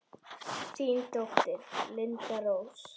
Þín dóttir, Linda Rós.